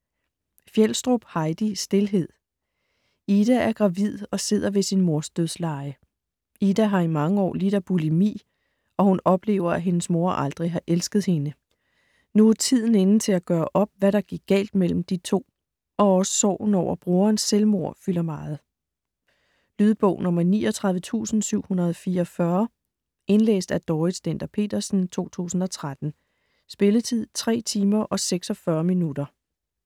Fjelstrup, Heidi: Stilhed Ida er gravid og sidder ved sin mors dødsleje. Ida har i mange år lidt af bulimi, og hun oplever, at hendes mor aldrig har elsket hende. Nu er tiden inde til at gøre op, hvad der gik galt mellem de to, og også sorgen over brorens selvmord fylder meget. Lydbog 39744 Indlæst af Dorrit Stender-Petersen, 2013. Spilletid: 3 timer, 46 minutter.